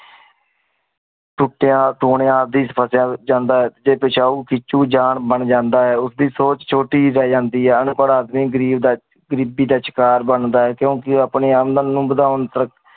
ਸੁਖਾਂ ਸੁਨੀਆਂ ਡੀ ਵੇਚ ਫਾਸ ਜਾਂਦਾ ਆਯ ਜੀ ਪਸ਼ੁ ਬੇਚਹੁ ਜਾਨ ਬਣ ਜਾਂਦਾਆਯ ਉਚੀ ਸੋਚ ਛੁਟੀ ਬਣ ਜਾਂਦੀ ਆਯ ਉਨ ਪਰ ਆਦਮੀ ਘਰੀਬ ਰਹ੍ਜੰਦਾ ਆਯ ਘ੍ਰਿਬੀ ਦਾ ਸ਼ਰ੍ਕਰ ਬੇਨ ਜਾਂਦਾ ਆਯ ਕੁੰ ਕੀ ਅਪਨੀ ਉਨ ਨੂ ਵਾਦੇਉਣ ਵਾਦੁਨ